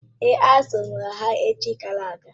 Èé, azụrụ m ha echi gara aga.